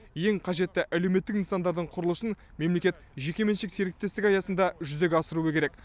ең қажетті әлеуметтік нысандардың құрылысын мемлекет жекеменшік серіктестік аясында жүзеге асыру керек